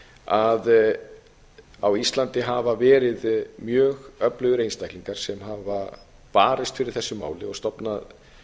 að á íslandi hafa verið mjög öflugir einstaklingar sem hafa barist fyrir þessu máli og stofnað